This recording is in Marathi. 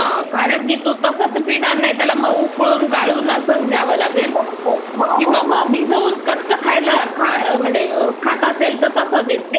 कारण तो तसं तर पिणार नाही, मग त्याला उकळून गाळून असंच द्यावं लागेल. किंवा मग भिजवून कच्चं खात असेल तर मग तसं देते.